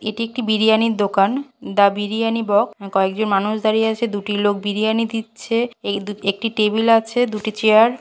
এক এটি একটি বিরিয়ানির দোকান দ্য বিরিয়ানি বক্স কয়েকজন মানুষ দাঁড়িয়ে আছে দুটি লোক বিরিয়ানি দিচ্ছে এই দু একটি টেবিল আছে দুটি চেয়ার ।